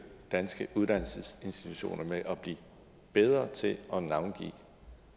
danske uddannelsesinstitutioner med at blive bedre til at navngive